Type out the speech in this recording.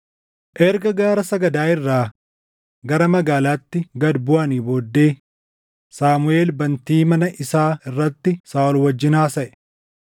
Erga gaara sagadaa irraa gara magaalaatti gad buʼanii booddee Saamuʼeel bantii mana isaa irratti Saaʼol wajjin haasaʼe.